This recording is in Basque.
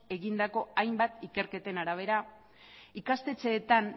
egindako hainbat ikerketen arabera ikastetxeetan